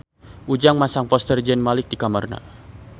Ujang masang poster Zayn Malik di kamarna